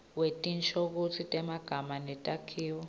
wetinshokutsi temagama netakhiwo